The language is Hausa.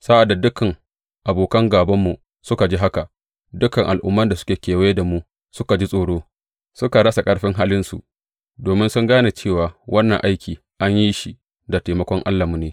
Sa’ad da dukan abokan gābanmu suka ji haka, dukan al’umman da suke kewaye da mu suka ji tsoro, suka rasa ƙarfin halinsu, domin sun gane cewa wannan aiki an yi shi da taimakon Allahnmu ne.